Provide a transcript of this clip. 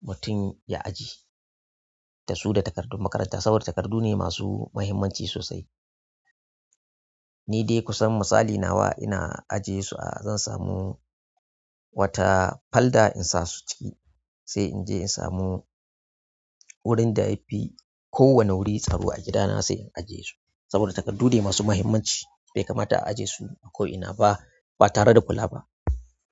batun ya ajiye. Dasu da takardun makaranta saboda takardu ne masu muhimmanci sosai. Ni dai ku san misali nawa ina ajiye su a zan samu wata falda in sa su ciki sai inje in samu wurin da yafi ko wani wuri tsaro a gidana sai in ajiye su saboda takardu ne masu muhimmanci bai kamata a ajiye su a ko ina ba ba tare da kula ba.